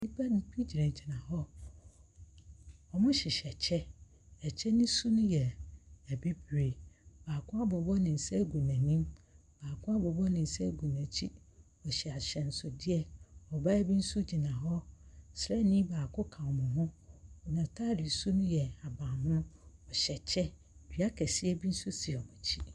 Nnipa nn bi gyinagyina hɔ. Wɔhyehyɛ kyɛ. Ɛkyɛ no su no yɛ bibire. Baako abobɔ ne nsa agu n'anim. Baako abobɔ ne nsa agu n'akyi. Ɔhyɛ ahyɛnsodeɛ. Ɔbaa bo nso gyina hɔ. Sraani baako ka wɔn ho. N'ataade su no ye ahabammono. Ɔhyɛ kyɛ. Dua kɛseɛ bi nso si n'akyi.